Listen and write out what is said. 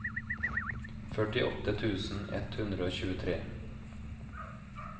førtiåtte tusen ett hundre og tjuetre